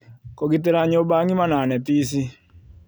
Kũgitĩra nyũmba ng’ïma na neti ici